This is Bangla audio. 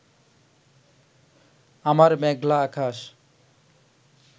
আমার মেঘলা আকাশ